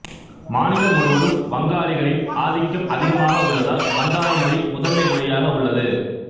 மாநிலம் முழுவதும் வங்காளிகளின் ஆதிக்கம் அதிகமாக உள்ளதால் வங்காள மொழி முதன்மை மொழியாக உள்ளது